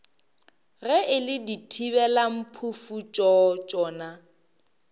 ge e le dithibelamphufutšo tšona